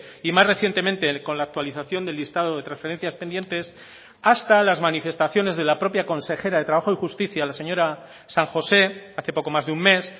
y más recientemente con la actualización del listado de transferencias pendientes hasta las manifestaciones de la propia consejera de trabajo y justicia la señora san josé hace poco más de un mes